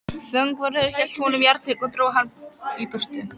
Fangavörður hélt honum járntaki og dró hann í burtu.